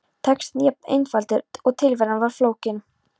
Textinn jafn einfaldur og tilveran var flókin.